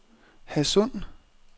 Hadsund